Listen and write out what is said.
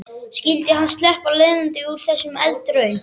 Skyldi hann sleppa lifandi úr þessari eldraun?